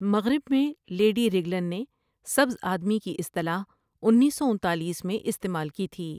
مغرب میں Lady Raglan نے سبز آدمی کی اصطلاح انیس سو انتالیس میں استعمال کی تھی۔